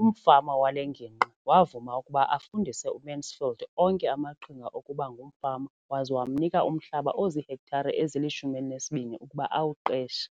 umfama wale ngingqi wavuma ukuba afundise uMansfield onke amaqhinga okuba ngumfama waza wamnika umhlaba ozihektare ezili-12 ukuba awuqeshe.